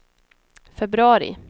februari